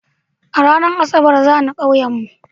Ranar asabar zani ƙauyen mu